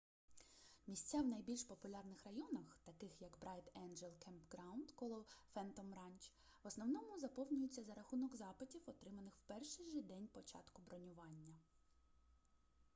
місця в найбільш популярних районах таких як брайт енджел кемпграунд коло фентом ранч в основному заповнюються за разунок запитів отриманих в перший же день початку бронювання